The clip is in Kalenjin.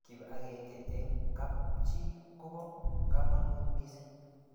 kip akenge eng kap chii kobo kamangut mising